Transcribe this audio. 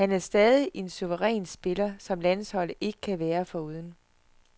Han er stadig en suveræn piller, som landsholdet ikke kan være foruden.